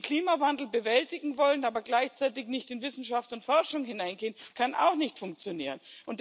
Den Klimawandel bewältigen wollen, aber gleichzeitig nicht in Wissenschaft und Forschung hineingehen, kann auch nicht funktionieren.